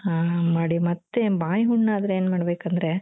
ಹ ಮಾಡಿ ಮತ್ತೆ ಬಾಯಿ ಹುಣ್ಣಾದ್ರೆ ಏನ್ ಮಾಡ್ಬೇಕಂದ್ರೆ